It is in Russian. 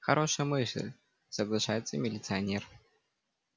хорошая мысль соглашается милиционер